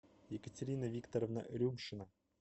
екатерина викторовна рюшина